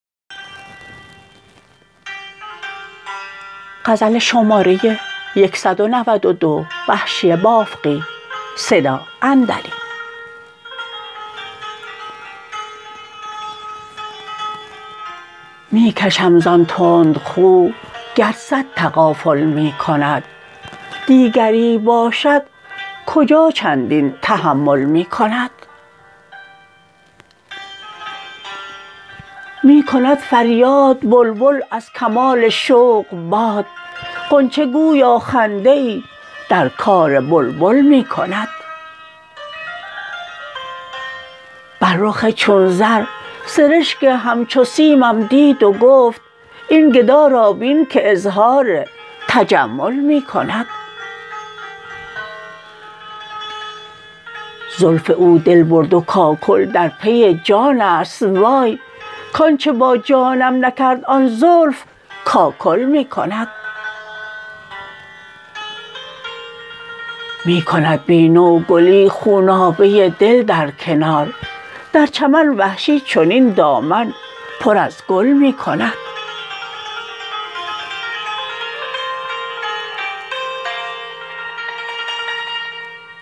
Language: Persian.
می کشم زان تند خو گر صد تغافل می کند دیگری باشد کجا چندین تحمل می کند می کند فریاد بلبل از کمال شوق باد غنچه گویا خنده ای در کار بلبل می کند بر رخ چون زر سرشک همچو سیمم دید و گفت این گدا را بین که اظهار تجمل می کند زلف او دل برد و کاکل در پی جانست وای کانچه با جانم نکرد آن زلف کاکل می کند می کند بی نوگلی خونابه دل در کنار در چمن وحشی چنین دامن پر از گل می کند